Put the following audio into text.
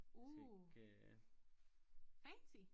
Uh fancy